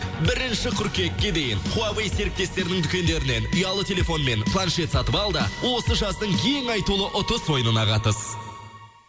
бірінші қыркүйекке дейін хуавей серіктестерінің дүкендерінен ұялы телефон мен планшет сатып ал да осы жаздың ең айтулы ұтыс ойынына қатыс